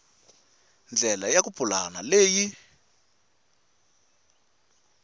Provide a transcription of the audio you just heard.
ndlela ya ku pulana leyi